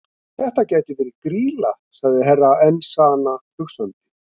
Þetta gæti verið Grýla, sagði Herra Enzana hugsandi.